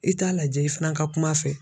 I t'a lajɛ i fana ka kum'a fɛ.